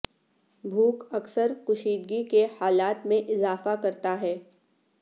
بھوک اکثر کشیدگی کے حالات میں اضافہ کرتا ہے